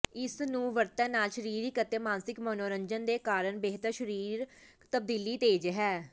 ਇਸ ਨੂੰ ਵਰਤਣ ਨਾਲ ਸਰੀਰਕ ਅਤੇ ਮਾਨਸਿਕ ਮਨੋਰੰਜਨ ਦੇ ਕਾਰਨ ਬਿਹਤਰ ਸਰੀਰਕ ਤਬਦੀਲੀ ਤੇਜ਼ ਹੈ